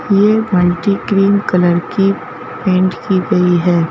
यह multi cream colour की paint की गई है।